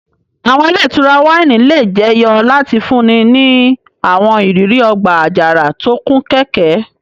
Àwọn ile itura wáìnì le jeyo lati funni ni àwọn iriri ọgba-ajara to kun kẹ́kẹ́.